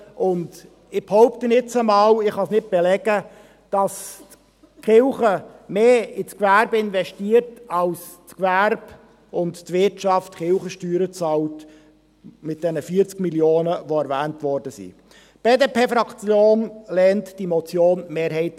Ich behaupte jetzt einmal, dass die Kirchen mehr ins Gewerbe investieren, als das Gewerbe und die Wirtschaft in Form der 40 Mio. Franken, die erwähnt wurden, an Kirchensteuern bezahlen.